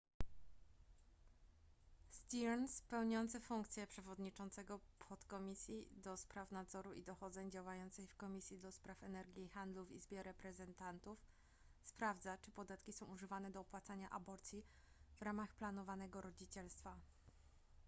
stearns pełniący funkcję przewodniczącego podkomisji ds nadzoru i dochodzeń działającej w komisji ds energii i handlu w izbie reprezentantów sprawdza czy podatki są używane do opłacania aborcji w ramach planowanego rodzicielstwa